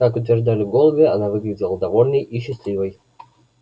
как утверждали голуби она выглядела довольной и счастливой